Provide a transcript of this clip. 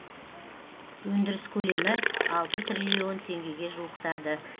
өндіріс көлемі алты триллион теңгеге жуықтады